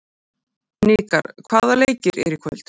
Hnikar, hvaða leikir eru í kvöld?